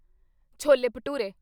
chole bhature